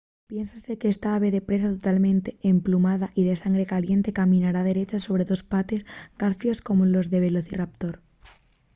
piénsase qu’esta ave de presa totalmente emplumada y de sangre caliente caminara derecha sobre dos pates con garfios como los del velociraptor